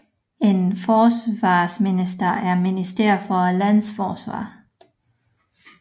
En forsvarsminister er minister for et lands forsvar